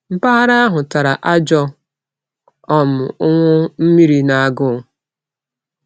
Mpaghara ahụ tara ajọ um ụnwụ mmiri na agụụ.